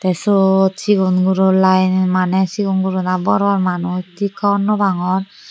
suot cigon guro liyen maney cigon guro na bor bor manuch tik hobor no pangor.